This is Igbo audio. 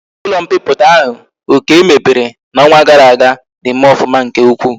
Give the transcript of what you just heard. Ulo mpiputa ahu okey mepere na onwa gara aga na eme ofuma nke ukwu